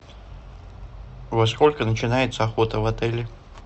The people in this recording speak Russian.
во сколько начинается охота в отеле